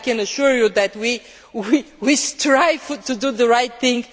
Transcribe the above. I can assure you that we strive to do the right thing.